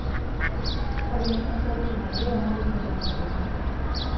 Ore eng'eno sapuk nalio natumie tenjurore